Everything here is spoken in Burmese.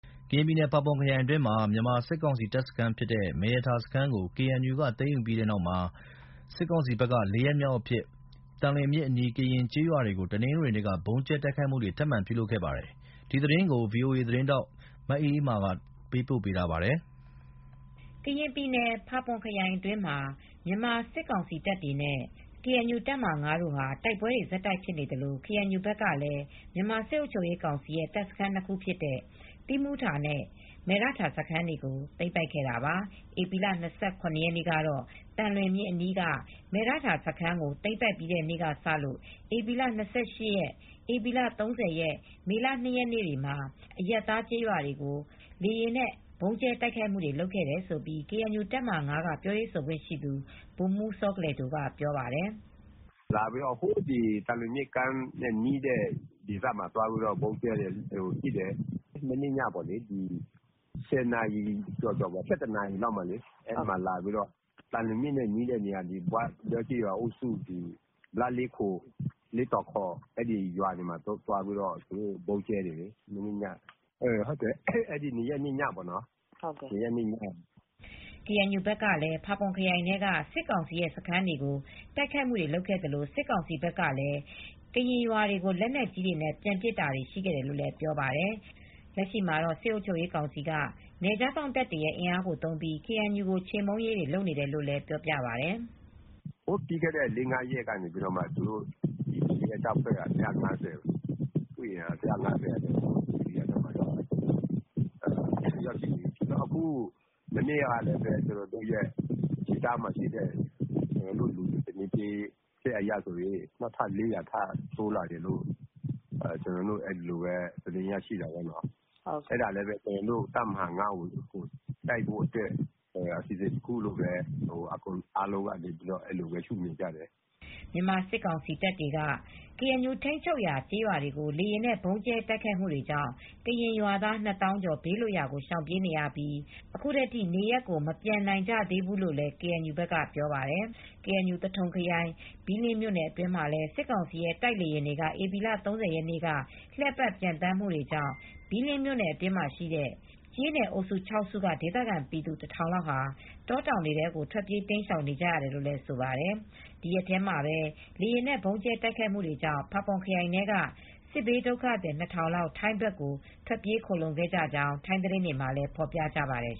ကရင်ပြည်နယ် ၊ ဖာပွန်ခရိုင်အတွင်းမှာ မြန်မာစစ်ကောင်စီတပ်စခန်းဖြစ်တဲ့ မယ်ရထာစခန်းကို KNU ကသိမ်းယူပြီးတဲ့နောက် စစ်ကောင်စီဘက်က ၄ရက်မြောက်အဖြစ် သံလွင်မြစ်အနီးက ကရင်ကျေးရွာတွေကို တနင်္ဂနွေနေ့က ဗုံးကြဲတိုက်ခိုက်မူ ထပ်လုပ်ခဲ့ပါတယ်။ ဒီသတင်းကို ဗွီအိုအေမြန်မာပိုင်းသတင်းထောက် မအေးအေးမာက သတင်းပေးပို့ ထားပါတယ်။ ကရင်ပြည်နယ်၊ ဖာပွန်ခရိုင်အတွင်းမှာ မြန်မာစစ်ကောင်စီတပ်တွေနဲ့ KNU တပ်မဟာ၅တို့ဟာ တိုက်ပွဲတွေဆက်တိုက်ဖြစ်နေသလို ကေအန်ယူ ဘက်ကလည်း မြန်မာစစ်အုပ်ချုပ်ရေးကောင်စီရဲ့ တပ်စခန်း၂ခုဖြစ်တဲ့ သီးမူထာနဲ့ မယ်ရထာ စခန်းတွေကို သိမ်းပိုက်ခဲ့တာပါ။ ဧပြီလ ၂၇ရက်နေ့ကတော့ သံလွင်မြစ်အန်ီးက မယ်ရထာစခန်းကို သိမ်းပြီးတဲ့နေ့ ကစလို့ ဧပြီလ ၂၈ ရက်၊ ဧပြီလ ၃၀ရက်၊ မေလ ၂ရက်နေ့တွေမှာ အရပ်သားကျေးရွာတွေကို လေယာဉ်နဲ့ ဗုံးကြဲတိုက်ခိုက်မူလုပ်ခဲ့တယ်လို့ ကေအန်ယူတပ်မဟာ(၅)က ပြောရေးဆိုခွင့်ရှိသူ ဗိုလ်မှူးစောကလယ်ဒို က ပြောပါတယ်။ “ လာပြီးတော့ သံလွင်မြစ်ကမ်းနဲ့ နီးတဲ့ ဒေသမှာလာပြီးတော့ ဗုံးကြဲ တိုက်ခိုက်တယ်လေ။ မနေ့ညက ၁၀နာရီကျော်၊ ၁၁နာရီ ဝန်းကျင်လောက်မှာ သံလွင်မြစ်နဲ့ နီးတဲ့ ဘွားတဲ ကျေးရွာအုပ်စုလား၊ လေးခို လေးကော်ခေါ် အဲဒီရွာတွေမှာ ဗုံးကြဲတယ်လေ။ မနေ့ည အဲဒီ ၂ရက်နေ့ညက ဗုံးကြဲတယ်။” ကေအန်ယူဘက်က ဖာပွန်ခရိုင်ထဲက စစ်ကောင်စီရဲ့ စခန်းတွေကို တိုက်ခိုက်မူတွေလုပ်ခဲ့သလို စစ်ကောင်စီဘက်ကလည်း ကရင်ရွာတွေကို လက်နက်ကြီးတွေနဲ့ ပြန်ပစ်တာတွေရှိခဲ့တယ်လို့လည်း ပြောပါတယ်။ လက်ရှိမှာတော့ စစ်အုပ်ချုပ်ရေးကောင်စီက နယ်ခြားစောင့်တပ်တွေရဲ့ အင်အားကို သုံးပြီး ကေအန်ယူကို ချေမှူန်းရေးတွေ လုပ်နေတယ်လို့လည်း ပြောပြပါတယ်။ “ပြီးခဲ့တဲ့ လေးငါးရက်က BGF တပ်ဖွဲ့က စစ်အင်အား ၁၅၀လောက် မနေ့ ကလည်း ကျနော်တို့ ဒေသခံတွေ သတင်းပေးချက်အရ နောက်ထပ် ၄၀၀ လောက် အင်အားတိုးလာတယ်လို့ သတင်းရရှိတာပေါ့နော်။ အဲဒါလည်း ကျနော်တို့ တပ်မဟာ(၅)ကို တိုက်ဖို့အတွက် အစီအစဉ်တခုလို့ပဲ အားလုံးကတော့ ယူဆကြတယ်။” မြန်မာစစ်ကောင်စီတပ်တွေက ကေအန်ယူထိန်းချုပ်ရာ ကျေးရွာတွေကို လေယာဉ်နဲ့ ဗုံးကြဲတိုက်ခိုက်မူတွေကြောင့် ကရင်ရွာသား ၂သောင်းကျော် ဘေးလွတ်ရာကိုရှောင်ပြေးနေရပြီး အခုထိ နေရပ်မပြန်နိုင်ကြသေးဘူး လို့လည်း KNU ဘက်က ပြောပါတယ်။ KNU - သထုံခရိုင် ဘီးလင်းမြို့နယ်အတွင်းမှာလည်း စစ်ကောင်စီရဲ့ တိုက်လေယာဉ်များ ဧပြီလ (၃၀)ရက်နေ့က လှည့်ပတ် ပျံသန်းနေမှုတွေကြောင့် ဘီးလင်းမြို့နယ်အတွင်းရှိ ကျေးနယ်အုပ်စု (၆)စုက ဒေသခံပြည်သူ (၁၀၀၀)လောက်ဟာ တောတောင်ထဲကို ထွက်ပြေး တိမ်းရှောင်နေကြရတယ်လို့ လည်းဆိုပါတယ်။ ဒီရက်ထဲမှာတော့ လေယာဉ်နဲ့ ဗုံးကြဲတိုက်ခိုက်မူတွေကြောင့် ဖာပွန်ခရိုင်ထဲက စစ်ဘေးဒုက္ခသည် ၂ထောင်လောက် ထိုင်းဘက်ကို ထွက်ပြေးခိုလှုံခဲ့ကြောင်း ထိုင်းသတင်းတွေမှာ ဖော်ပြပါတယ်